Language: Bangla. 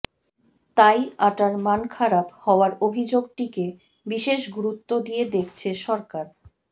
তাই আটার মান খারাপ হওয়ার অভিযোগটিকে বিশেষ গুরুত্ব দিয়ে দেখছে সরকার